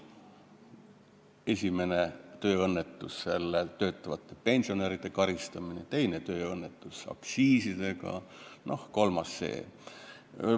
Esimene tööõnnetus oli töötavate pensionäride karistamine, teine tööõnnetus oli aktsiisidega ja kolmas on see.